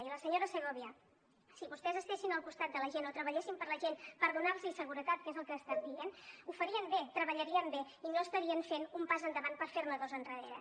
i a la senyora segòvia si vostès estiguessin al costat de la gent o treballessin per la gent per donar los seguretat que és el que ha estat dient ho farien bé treballarien bé i no estarien fent un pas endavant per fer ne dos endarrere